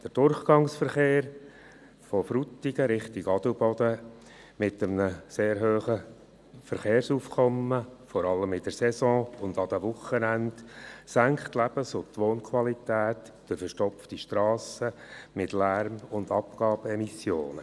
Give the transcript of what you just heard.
Der Durchgangsverkehr in Frutigen in Richtung Adelboden mit dem sehr hohen Verkehrsaufkommen, vor allem während der Saison und an den Wochenenden, senkt die Lebens- und Wohnqualität durch verstopfte Strassen sowie durch Lärm- und Abgasemissionen.